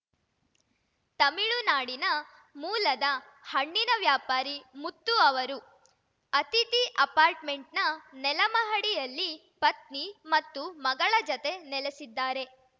ತಮಿಳುನಾಡಿನ ಮೂಲದ ಹಣ್ಣಿನ ವ್ಯಾಪಾರಿ ಮುತ್ತು ಅವರು ಅತಿಥಿ ಅಪಾರ್ಟ್‌ಮೆಂಟ್‌ನ ನೆಲಮಹಡಿಯಲ್ಲಿ ಪತ್ನಿ ಮತ್ತು ಮಗಳ ಜತೆ ನೆಲೆಸಿದ್ದಾರೆ